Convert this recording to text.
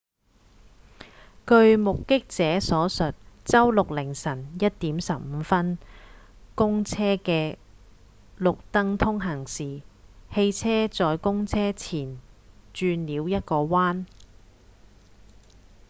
據目擊者所述周六凌晨 1:15 公車在綠燈通行時汽車在公車前方轉了一個彎